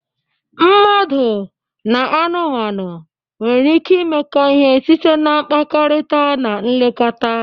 Mmadụ na anụmanụ nwere ike imekọ ihe site na mkpakọrịta na nlekọta.